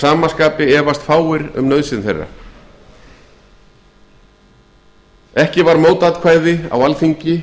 sama skapi efast fáir um nauðsyn þeirra samstaða var um þær aðgerðir hér á þingi